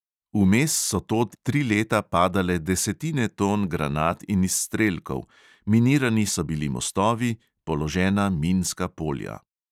Vmes so tod tri leta padale desetine ton granat in izstrelkov, minirani so bili mostovi, položena minska polja.